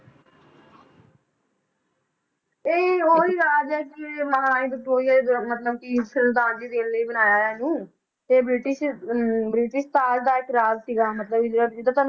ਇਹ ਉਹੀ ਰਾਜ ਹੈ ਕਿ ਮਹਾਰਾਣੀ ਵਿਕਟੋਰੀਆ ਦੇ ਮਤਲਬ ਕਿ ਸਰਧਾਂਜਲੀ ਦੇਣ ਲਈ ਬਣਾਇਆ ਹੈ ਇਹਨੂੰ ਤੇ ਬ੍ਰਿਟਿਸ਼ ਹਮ ਬ੍ਰਿਟਿਸ਼ ਤਾਜ਼ ਦਾ ਇੱਕ ਰਾਜ ਸੀਗਾ ਮਤਲਬ ਵੀ ਜਿਹੜਾ